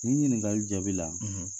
Nin ɲininkali jaabi la